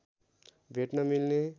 भेट्न मिल्ने